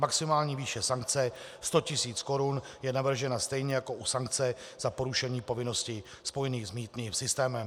Maximální výše sankce 100 tis. Kč je navržena stejně jako u sankce za porušení povinností spojených s mýtným systémem.